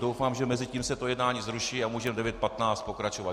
Doufám, že mezitím se to jednání zruší a můžeme v 9.15 pokračovat.